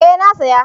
eh na saya